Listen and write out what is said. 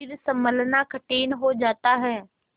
फिर सँभलना कठिन हो जाता है